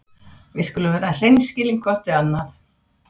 Við skulum vera hreinskilin hvort við annað.